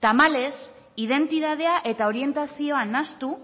tamalez identitatea eta orientazioa nahastu